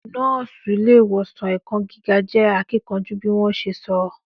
Nọ́ọ́sì ile ìwòsàn ẹ̀kọ́ gíga je akíkanjú bí wọn ṣe sọ